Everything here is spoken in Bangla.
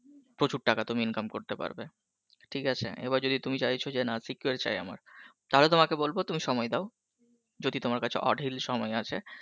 প্রচুর টাকা তুমি income করতে পারবে ঠিক আছে এবার যদি তুমি চাইছো যে না secure চাই আমার তাহলে তোমাকে বলব তুমি সময় দাও যদি তোমার কাছে অঢেল সময় আছে